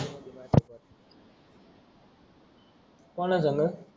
कोणा सांग